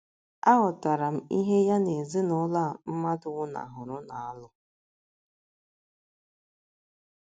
Aghọtara m ihe ya na ezinụlọ a mmadụ nwụnahụrụ na - alụ.